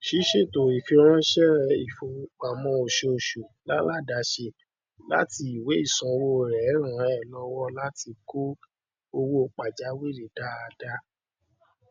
ṣíṣètò ìfiránsẹ ìfowópamọ oṣooṣù láládàáṣe láti ìwé ìsanwó rẹ ràn ẹ lọwọ láti kọ owó pajawiri dáadáa